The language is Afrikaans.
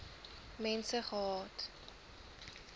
mense gehad